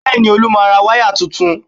Bẹ́ẹ̀ni, Olú máa ra wáyà tuntun